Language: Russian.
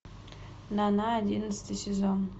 нана одиннадцатый сезон